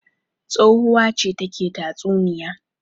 Tsohuwa ce take tatsuniya.